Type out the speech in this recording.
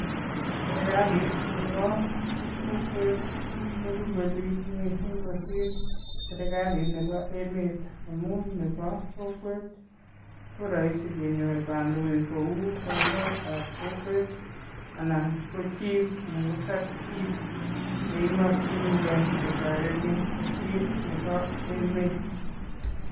Serikalit nepo kokwet korupe biik mising kosir serikalit nepo emet amu nepo kokwet ko rahisi kenyor kandoik kou boiyotap kokwet anan ko chief anan ko sub-chief yeimokchinikei ketoretin kosir nepo emet.